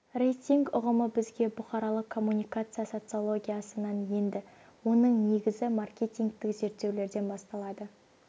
рейтинг ұғымы бізге бұқаралық коммуникация социологиясынан енді оның негізі маркетингтік зерттеулерден басталады